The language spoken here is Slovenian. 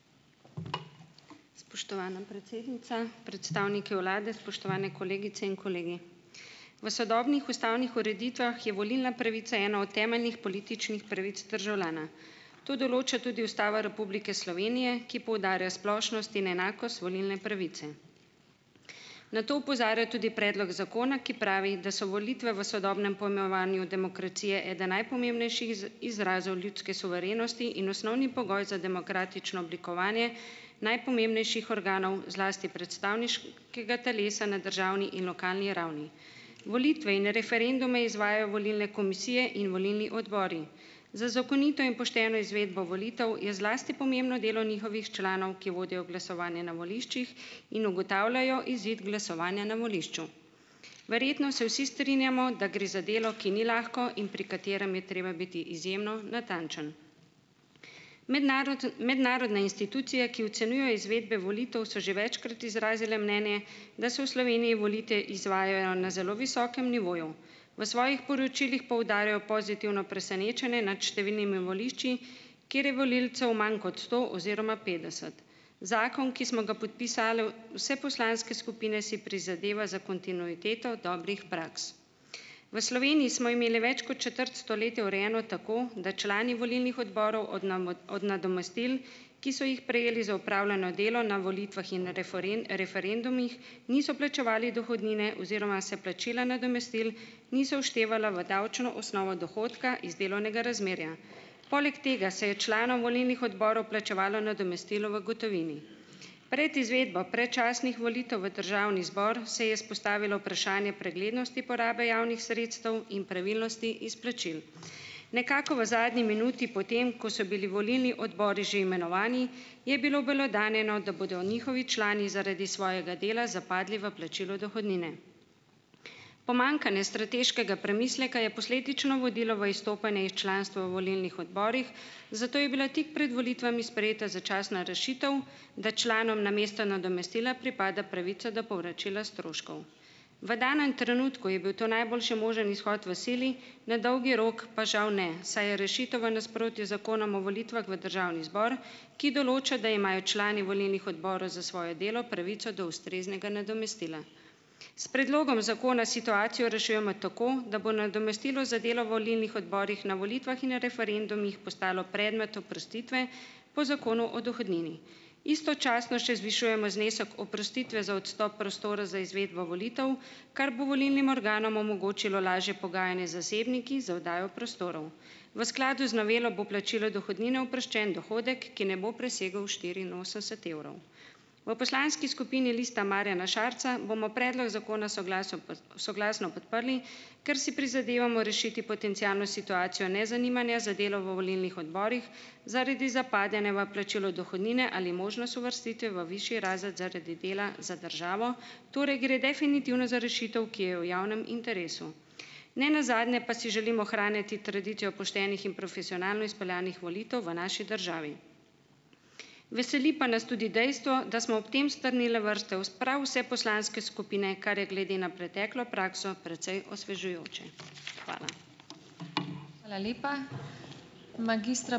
Spoštovana predsednica, predstavniki vlade, spoštovane kolegice in kolegi. V sodobnih ustavnih ureditvah je volilna pravica ena od temeljnih političnih pravic državljana. To določa tudi Ustava Republike Slovenije, ki poudarja splošnost in enakost volilne pravice. Na to opozarja tudi predlog zakona, ki pravi, da so volitve v sodobnem pojmovanju demokracije eden najpomembnejših izrazov ljudske suverenosti in osnovni pogoj za demokratično oblikovanje najpomembnejših organov, zlasti predstavniškega telesa na državni in lokalni ravni. Volitve in referendume izvajajo volilne komisije in volilni odbori. Za zakonito in pošteno izvedbo volitev, je zlasti pomembno delo njihovih članov, ki vodijo glasovanje na voliščih in ugotavljajo izid glasovanja na volišču. Verjetno se vsi strinjamo, da gre za delo, ki ni lahko in pri katerem je treba biti izjemno natančen. mednarodne institucije, ki ocenjujejo izvedbe volitev, so že večkrat izrazile mnenje, da se v Sloveniji volitve izvajajo na zelo visokem nivoju. V svojih poročilih poudarjajo pozitivno presenečenje nad številnimi volišči, kjer je volivcev manj kot sto oziroma petdeset. Zakon, ki smo ga podpisale vse poslanske skupine, si prizadeva za kontinuiteto dobrih praks. V Sloveniji smo imele več kot četrt stoletja urejeno tako, da člani volilnih odborov od od nadomestil, ki so jih prejeli za opravljeno delo na volitvah in referendumih, niso plačevali dohodnine oziroma se plačila nadomestil niso vštevala v davčno osnovo dohodka iz delovnega razmerja. Poleg tega se je članom volilnih odborov plačevalo nadomestilo v gotovini. Pred izvedbo predčasnih volitev v državni zbor se je vzpostavilo vprašanje preglednosti porabe javnih sredstev in pravilnosti izplačil. Nekako v zadnji minuti potem, ko so bili volilni odbori že imenovani, je bilo obelodanjeno, da bodo njihovi člani zaradi svojega dela zapadli v plačilo dohodnine. Pomanjkanje strateškega premisleka je posledično vodilo v izstopanje iz članstva v volilnih odborih, zato je bila tik pred volitvami sprejeta začasna rešitev, da članom namesto nadomestila pripada pravica do povračila stroškov. V danem trenutku je bil to najboljši možen izhod v sili, na dolgi rok pa žal ne, saj je rešitev v nasprotju z Zakonom o volitvah v Državni zbor, ki določa, da imajo člani volilnih odborov za svoje delo pravico do ustreznega nadomestila. S predlogom zakona situacijo rešujemo tako, da bo nadomestilo za delo v volilnih odborih na volitvah in referendumih postalo predmet oprostitve po Zakonu o dohodnini. Istočasno še zvišujemo znesek oprostitve za odstop prostora za izvedbo volitev, kar bo volilnim organom omogočilo lažje pogajanje z zasebniki za oddajo prostorov. V skladu z novelo bo plačilo dohodnine oproščen dohodek, ki ne bo presegel štiriinosemdeset evrov. V poslanski skupini Lista Marjana Šarca bomo predlog zakona soglasno soglasno podprli, ker si prizadevamo rešiti potencialno situacijo nezanimanja za delo v volilnih odborih, zaradi zapadanja v plačilu dohodnine ali možnost uvrstitve v višji razred zaradi dela za državo. Torej gre definitivno za rešitev, ki je v javnem interesu. Ne nazadnje pa si želimo ohranjati tradicijo poštenih in profesionalno izpeljanih volitev v naši državi. Veseli pa nas tudi dejstvo, da smo ob tem strnile vrste, prav vse poslanske skupine, kar je glede na preteklo prakso precej osvežujoče. Hvala. Hvala lepa. Magistra ...